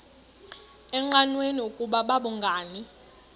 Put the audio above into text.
engqanweni ukuba babhungani